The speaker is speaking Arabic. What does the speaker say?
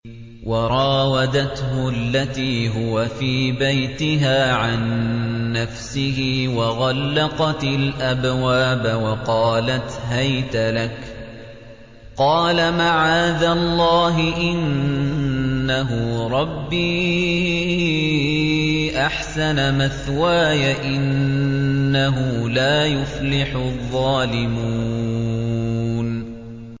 وَرَاوَدَتْهُ الَّتِي هُوَ فِي بَيْتِهَا عَن نَّفْسِهِ وَغَلَّقَتِ الْأَبْوَابَ وَقَالَتْ هَيْتَ لَكَ ۚ قَالَ مَعَاذَ اللَّهِ ۖ إِنَّهُ رَبِّي أَحْسَنَ مَثْوَايَ ۖ إِنَّهُ لَا يُفْلِحُ الظَّالِمُونَ